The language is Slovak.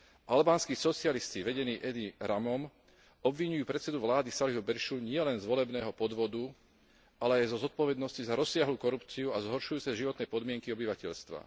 Albánski socialisti vedení Edim Ramom obviňujú predsedu vlády Saliho Berishu nielen z volebného podvodu, ale aj zo zodpovednosti za rozsiahlu korupciu a zhoršujúce sa životné podmienky obyvateľstva.